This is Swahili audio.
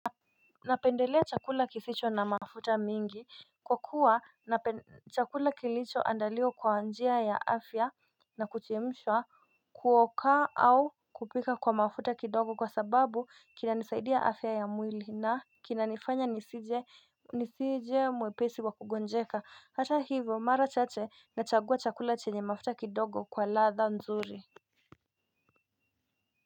Napendelea chakula kisicho na mafuta mingi Kwa kuwa chakula kilicho andaliwa kwa njia ya afya na kuchemshwa kuoka au kupika kwa mafuta kidogo kwa sababu kinanisaidia afya ya mwili na kinanifanya nisije nisije mwepesi wa kugonjeka hata hivyo mara chache nachagua chakula chenye mafuta kidogo kwa ladha nzuri.